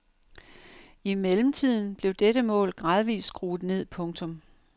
I mellemtiden blev dette mål gradvist skruet ned. punktum